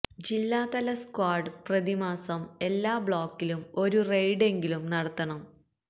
ജില്ലാ തല സ്ക്വാഡ് പ്രതിമാസം എല്ലാ ബ്ലോക്കിലും ഒരു റെയ്ഡ് എങ്കിലും നടത്തണം